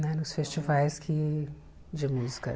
Né nos festivais que de música.